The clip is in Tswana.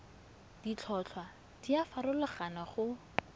ditlhotlhwa di a farologana go